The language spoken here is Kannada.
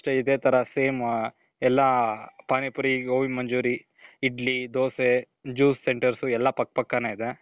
ಇದೆ ತರ same. ಎಲ್ಲಾ ಪಾನಿ ಪುರಿ, ಗೋಬಿ ಮಂಚೂರಿ, ಇಡ್ಲಿ, ದೋಸೆ, juice centers ಎಲ್ಲಾ ಪಕ್ಕ ಪಕ್ಕನೆ ಇದೆ.